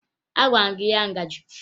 Agwara m gị nye ya ngaji!